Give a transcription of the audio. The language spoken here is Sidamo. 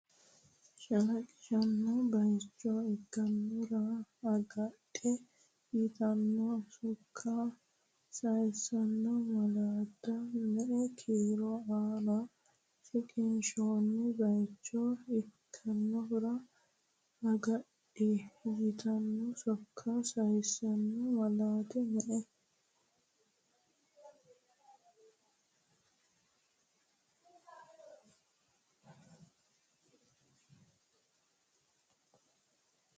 Shalaqisanno bayicho ikkinohura agadhi yitanno sokka sayisanno malaati me”e kiiro aana Shalaqisanno bayicho ikkinohura agadhi yitanno sokka sayisanno malaati me”e.